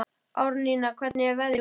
Árnína, hvernig er veðrið úti?